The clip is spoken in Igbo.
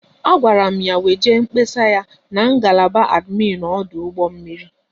A gwara m ya weje mkpesa ya n'ngalaba adminu ọdụ ụgbọ mmiri